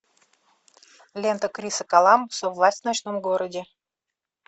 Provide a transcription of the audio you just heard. лента криса коламбуса власть в ночном городе